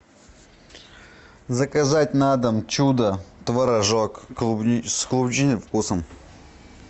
заказать на дом чудо творожок с клубничным вкусом